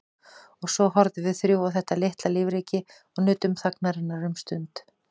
Og svo horfðum við þrjú á þetta litla lífríki og nutum þagnarinnar um stund.